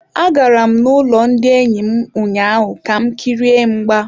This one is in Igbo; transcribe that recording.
Agara m n'ụlọ ndị enyi m ụnyaahụ ka m kirie mgba.